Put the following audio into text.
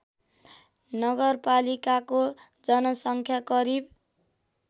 नगरपालिकाको जनसङ्ख्या करिब